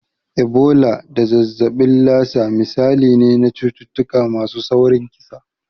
Ebola da zazzabin Lassa misalai ne na cututtuka masu saurin kisa.